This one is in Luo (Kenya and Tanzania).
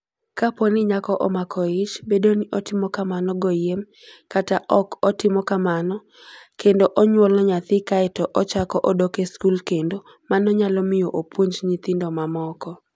Kapo ni nyako omako ich, bed ni otimo kamano goyiem kata ok otimo kamano, kendo onyuolo nyathi kae to ochako odok e skul kendo, mano nyalo miyo opuonj nyithindo mamoko.